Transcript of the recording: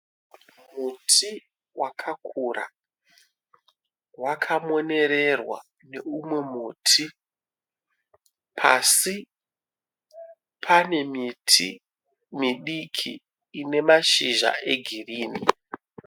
Muti wakura wakamonererwa neumwe muti. Pasi pane miti midiki ine mashizha egirini.